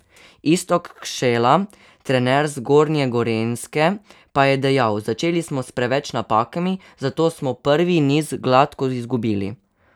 Iztok Kšela, trener Zgornje Gorenjske, pa je dejal: "Začeli smo s preveč napakami, zato smo prvi niz gladko izgubili.